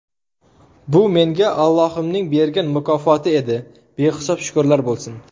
Bu menga Ollohimning bergan mukofoti edi, behisob shukrlar bo‘lsin.